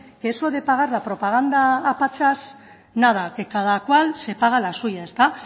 que eso de pagar la propaganda a pachas nada que cada cual se paga la suya ezta